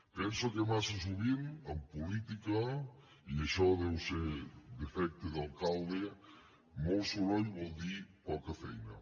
penso que massa sovint en política i això deu ser defecte d’alcalde molt soroll vol dir poca feina